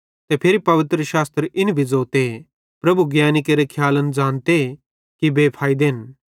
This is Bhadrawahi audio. ते फिरी पवित्रशास्त्र इन भी ज़ोते प्रभु ज्ञैनी केरे खियालन ज़ानते कि बेफैइदेन